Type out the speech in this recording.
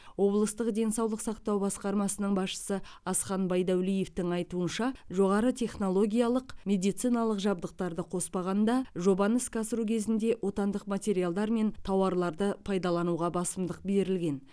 облыстық денсаулық сақтау басқармасының басшысы асхан байдуәлиевтің айтуынша жоғары технологиялық медициналық жабдықтарды қоспағанда жобаны іске асыру кезінде отандық материалдар мен тауарларды пайдалануға басымдық берілген